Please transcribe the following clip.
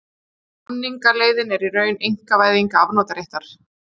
Samningaleiðin í raun einkavæðing afnotaréttar